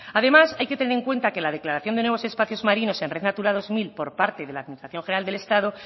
además hay que tener en cuenta que la declaración de nuevos espacios marinos en red natura dos mil por parte de la administración general del estado